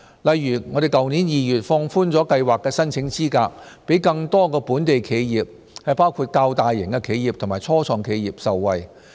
例如去年2月放寬了計劃的申請資格，讓更多本地企業，包括較大型企業及初創企業受惠。